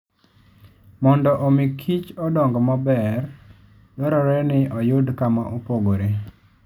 Mondo omi kichodong maber, dwarore ni oyud kama opogore.